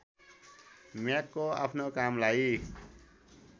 म्यागको आफ्नो कामलाई